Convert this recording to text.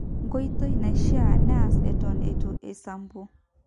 nkoitoi naishiaa neas eton itu isampu